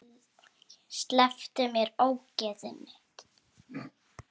Slepptu mér, ógeðið þitt!